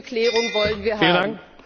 Diese Klärung wollen wir haben!